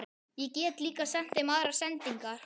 Ég get líka sent þeim aðrar sendingar!